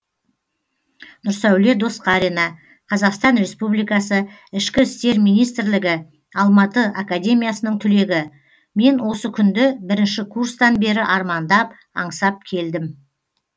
нұрсәуле досқарина қазақстан республикасы ішкі істер министрлігі алматы академиясының түлегі мен осы күнді бірінші курстан бері армандап аңсап келдім